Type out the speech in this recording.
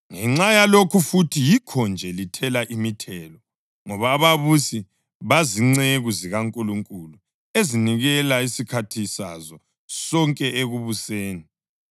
Ngenxa yalokhu futhi yikho-nje lithela imithelo, ngoba ababusi bazinceku zikaNkulunkulu, ezinikela isikhathi sazo sonke ekubuseni.